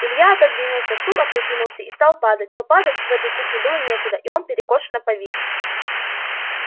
илья отодвинулся стул опрокинулся и стал падать но падать в этой кухне было некуда и он перекошенно повис